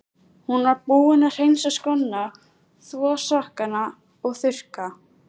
Hún var búin að hreinsa skóna, þvo sokkana og þurrka.